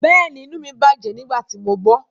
Bẹ́ẹ̀ni, inu mi bajẹ nigbati mo gbọ